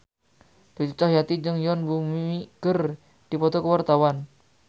Cucu Cahyati jeung Yoon Bomi keur dipoto ku wartawan